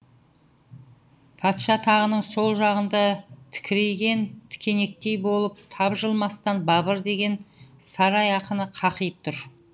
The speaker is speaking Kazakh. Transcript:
патша тағының сол жағында тікірейген тікенектей болып тапжылмастан бабыр деген сарай ақыны қақиып тұр